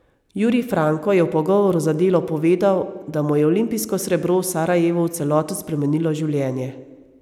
Jurij Franko je v pogovoru za Delo povedal, da mu je olimpijsko srebro v Sarajevu v celoti spremenilo življenje.